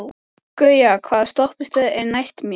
Gauja, hvaða stoppistöð er næst mér?